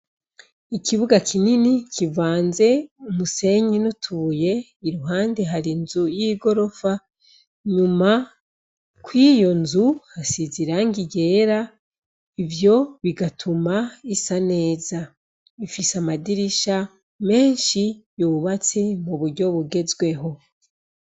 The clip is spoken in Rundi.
Ikibuga kinini kivanze umusenyi n'utuye iruhande hari nzu y'i gorofa nyuma ko iyo nzu hasiza iranga yera ivyo bigatuma isa neza bifise amadirisha menshi yubatse mu buryo bugezwe weho.